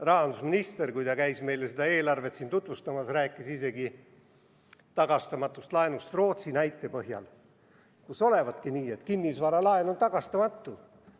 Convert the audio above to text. Rahandusminister, kui ta käis meile siin eelarvet tutvustamas, rääkis isegi tagastamatust laenust Rootsi näite põhjal, kus olevatki nii, et kinnisvaralaen on tagastamatu.